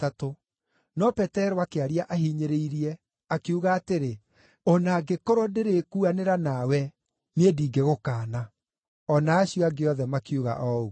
No Petero akĩaria ahinyĩrĩirie, akiuga atĩrĩ, “O na angĩkorwo ndĩrĩkuanĩra nawe, niĩ ndingĩgũkaana!” O na acio angĩ othe makiuga o ũguo.